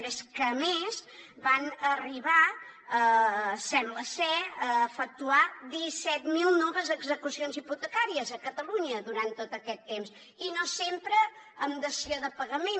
però és que a més van arribar sembla ser a efectuar disset mil noves execucions hipotecàries a catalunya durant tot aquest temps i no sempre amb dació de pagament